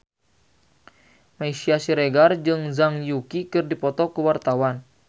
Meisya Siregar jeung Zhang Yuqi keur dipoto ku wartawan